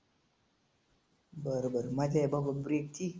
बरं बरं माहिती आहे बाबा break ची.